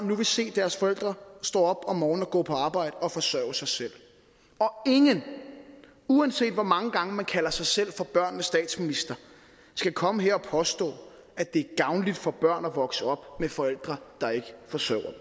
nu vil se deres forældre stå op om morgenen og gå på arbejde og forsørge sig selv og ingen uanset hvor mange gange man kalder sig selv for børnenes statsminister skal komme her og påstå at det er gavnligt for børn at vokse op med forældre der ikke forsørger